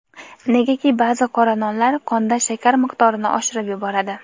negaki ba’zi qora nonlar qonda shakar miqdorini oshirib yuboradi.